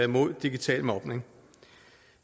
mod digital mobning